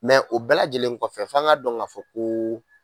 Mɛ o bɛɛ lajɛlen kɔfɛ f'an ka dɔn ka fɔ ko